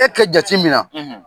E kɛ jati mina